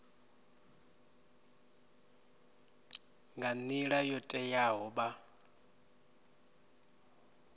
nga nila yo teaho vha